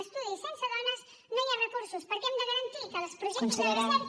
estudis sense dones no hi ha recursos perquè hem de garantir que als projectes de recerca